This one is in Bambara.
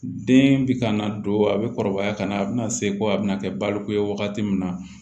Den bɛ ka na don a bɛ kɔrɔbaya ka na a bɛna se ko a bɛna kɛ baloko ye wagati min na